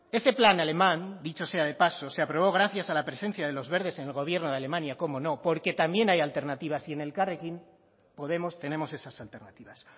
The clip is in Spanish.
ese plan alemán dicho sea de paso se aprobó gracias a la presencia de los verdes en el gobierno de alemania como no porque también hay alternativas y en elkarrekin podemos tenemos esas alternativas